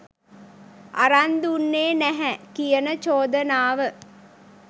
අරන් දුන්නේ නැහැ කියන චෝදනාව.